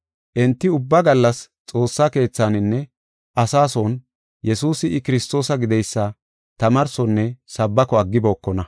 Enti ubba gallas Xoossa keethaninne asaa son Yesuusi I Kiristoosa gideysa tamaarsonne sabbako aggibokona.